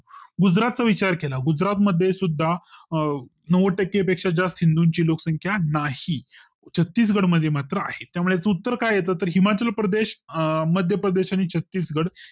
गुजरात चा विचार केला गुजरात मध्ये सुद्दा नव्वद टक्के पेक्क्षा जास्त हिंदूंची लोकसंख्या नाही छत्तीगड मध्ये मात्र आहे त्यामुळे याच उत्तर काय येत हिमाचलप्रदेश अं मध्य प्रदेश आणि छत्तीसगड